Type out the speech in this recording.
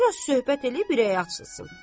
Bir az söhbət eləyib ürəyi açılsın.